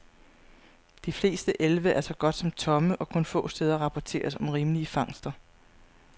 De fleste elve er så godt som tomme, og kun få steder rapporteres om rimelige fangster.